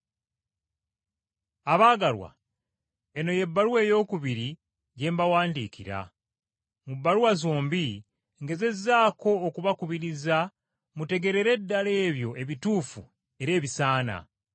Abaagalwa, eno y’ebbaluwa eyookubiri gye mbawandiikira. Mu bbaluwa zombi ngezezzaako okubakubiriza mutegeerere ddala ebyo ebituufu era ebisaana.